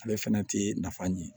Ale fɛnɛ ti nafa ɲin